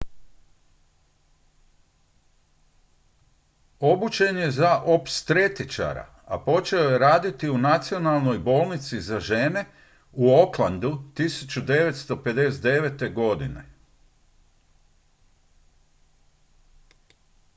obučen je za opstretičara i počeo je raditi u nacionalnoj bolnici za žene u aucklandu 1959. godine